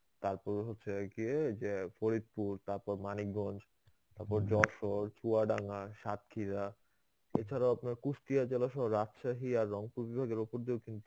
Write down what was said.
তারপর হচ্ছে গিয়ে যে ফরিদপুর, তারপর মানিকগঞ্জ, তারপর যশোর, চুয়াডাঙ্গা, সাক্ষীরা. এছাড়াও আপনার কুষ্টিয়া জেলাসহ, রাজশাহী আর রংপুর বিভাগের উপর দিয়েও